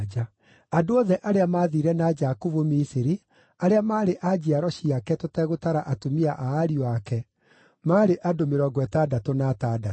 Andũ othe arĩa maathiire na Jakubu Misiri, arĩa maarĩ a njiaro ciake tũtegũtara atumia a ariũ ake, maarĩ andũ mĩrongo ĩtandatũ na atandatũ.